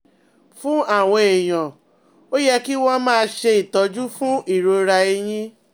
Fún àwọn èèyàn, ó yẹ kí wọ́n máa ṣe ìtọ́jú fún ìrora ẹ̀yìn